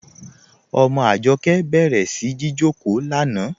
Ọmọ Ajọkẹ bẹ̀rẹ̀ sí jìjọkò lánà.